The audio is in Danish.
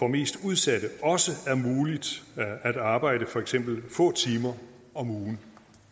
mest udsatte også er muligt at arbejde for eksempel få timer om ugen